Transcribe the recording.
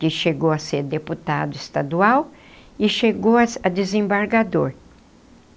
que chegou a ser deputado estadual e chegou a a desembargador.